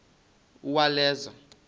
uwaleza